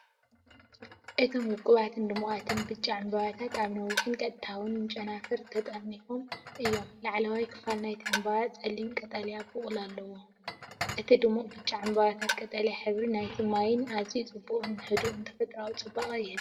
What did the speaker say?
እቶም ውቁባትን ድሙቓትን ብጫ ዕምባባታት ኣብ ነዊሕን ቀጥታውያንን ጨናፍር ተጠርኒፎም እዮም። ላዕለዋይ ክፋል ናይቲ ዕምባባ ጸሊም ቀጠልያ ቡቕሊ ኣለዎ፣ እቲ ድሙቕ ብጫ ዕምባባታትን ቀጠልያ ሕብሪ ናይቲ ማይን ኣዝዩ ጽቡቕን ህዱእን ተፈጥሮኣዊ ጽባቐ ይህብ።